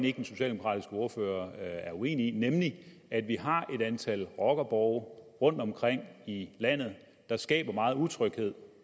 ikke den socialdemokratiske ordfører er uenig i nemlig at vi har et antal rockerborge rundtomkring i landet der skaber meget utryghed